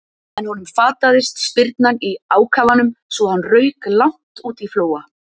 En honum fataðist spyrnan í ákafanum svo hann rauk langt út á Flóa.